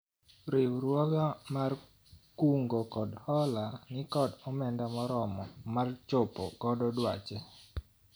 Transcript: riwruogwa mar kungo kod hola nikod omenda moromo mar chopo godo dwache